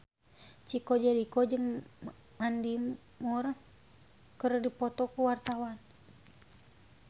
Chico Jericho jeung Mandy Moore keur dipoto ku wartawan